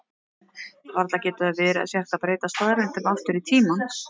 Varla getur það verið að hægt sé að breyta staðreyndum aftur í tímann?